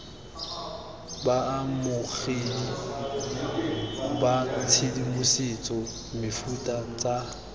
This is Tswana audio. baamogedi ba tshedimosetso mefuta tsa